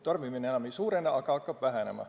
Tarbimine enam ei suurene, vaid hakkab vähenema.